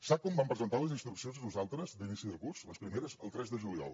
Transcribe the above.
sap quan vam presentar les instruccions nosaltres d’inici de curs les primeres el tres de juliol